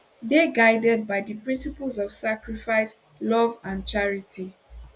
dey guided by di principles of sacrifice love and charity